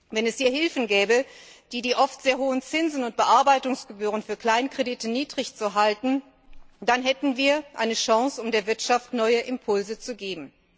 Wenn es hier Hilfen gäbe, die oft sehr hohen Zinsen und Bearbeitungsgebühren für Kleinkredite niedrig zu halten, dann hätten wir eine Chance, um der Wirtschaft neue Impulse zu geben.